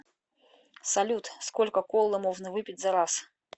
салют сколько колы можно выпить за раз